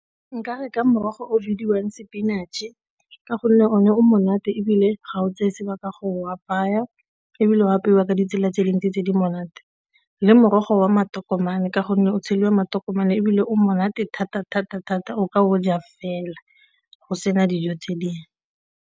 Nka re ka morogo o bidiwang spinach-e ka gonne o ne o monate, ebile ga o tseye sebaka go o apaya ebile go apewa ka ditsela tse dintsi tse di monate. Le morogo wa matokomane ka gonne o tsheliwa matokomane ebile o monate thata-thata-thata o ka o ja fela go sena dijo tse dingwe.